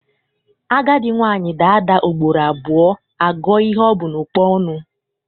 Agadi nwaanyị daa ada ugboro abụọ, a gụọ ihe o bu n'ụkpa ọnụ.